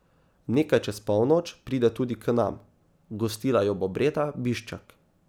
Nekaj čez polnoč pride tudi k nam, gostila jo bo Breda Biščak.